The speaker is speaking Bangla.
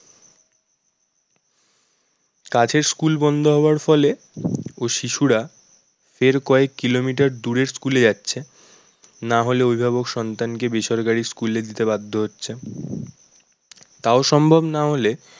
কাছের school বন্ধ হওয়ার ফলে ও শিশুরা এর কয়েক kilometer এর দূরের school এ যাচ্ছে না হলে অভিভাবক সন্তানকে বেসরকারি school এ দিতে বাধ্য হচ্ছেন তাও সম্ভব না হলে